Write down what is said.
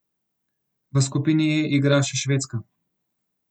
V skupini E igra še Švedska.